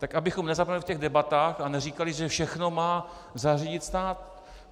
Tak abychom nezapomněli v těch debatách a neříkali, že všechno má zařídit stát.